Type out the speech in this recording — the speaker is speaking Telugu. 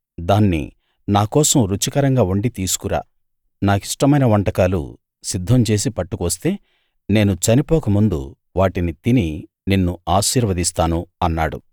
దాన్ని నాకోసం రుచికరంగా వండి తీసుకురా నాకిష్టమైన వంటకాలు సిద్ధం చేసి పట్టుకు వస్తే నేను చనిపోక ముందు వాటిని తిని నిన్ను ఆశీర్వదిస్తాను అన్నాడు